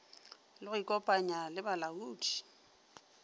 le go ikopanya le balaodi